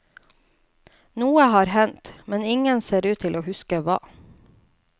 Noe har hendt, men ingen ser ut til å huske hva.